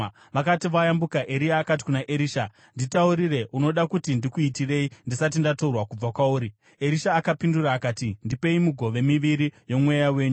Vakati vayambuka, Eria akati kuna Erisha, “Nditaurire, unoda kuti ndikuitirei ndisati ndatorwa kubva kwauri?” Erisha akapindura akati “Ndipei migove miviri yomweya wenyu.”